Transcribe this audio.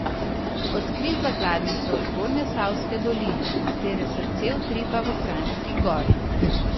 Odkrij zakladnico Zgornjesavske doline, katere srce utripa v Kranjski Gori.